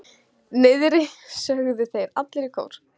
Niðri, sögðu þeir allir í kór.